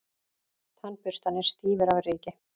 Tannburstarnir stífir af ryki.